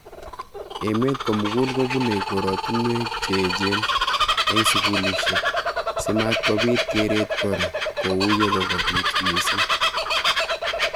Emet komugul kubunei koratunwek che echen eng sukulishek si matkopit keret kora ko u yekokopit missing.